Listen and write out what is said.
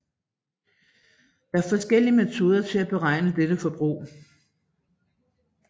Der er forskellige metoder til at beregne dette forbrug